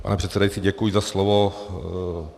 Pane předsedající, děkuji za slovo.